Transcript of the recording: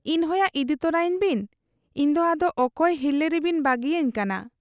ᱤᱧ ᱦᱚᱸᱭᱟ ᱤᱫᱤ ᱛᱚᱨᱟᱭᱤᱧ ᱵᱤᱱ ᱾ ᱤᱧᱫᱚ ᱟᱫᱚ ᱚᱠᱚᱭ ᱦᱤᱨᱞᱟᱹ ᱨᱮᱵᱤᱱ ᱵᱟᱹᱜᱤᱭᱟᱹᱧ ᱠᱟᱱᱟ ?